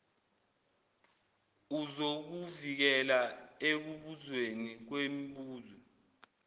uzokuvikela ekubuzweni kwemibuzo